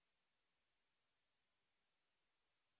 লিখুন this is my first assignment